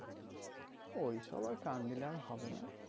ওই সব আর কান দিলে আর হবেনা